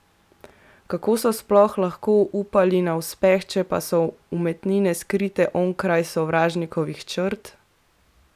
Kako so sploh lahko upali na uspeh, če pa so umetnine skrite onkraj sovražnikovih črt?